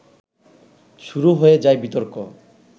শুরু হয়ে যায় বিতর্ক